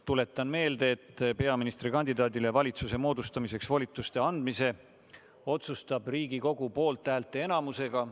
Tuletan meelde, et peaministrikandidaadile valitsuse moodustamiseks volituste andmise otsustab Riigikogu poolthäälte enamusega.